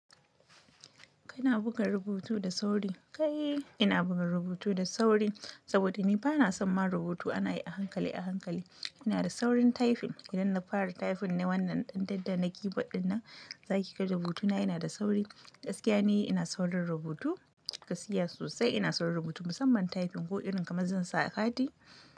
Kina buga rubutu da sauri? Kai, ina buga rubutu da sauri saboda ni bana son ma rubutu ana yi a hankali a hankali. Ina da saurin typing idan na fara typing na wannan ɗanɗanon daki baɗi na, za ki ga rubutuna yana da sauri. Gaskiya ne ina saurin rubutu, gaskiya sosai ina saurin rubutu musamman typing ko irin kamar zan sa a kati.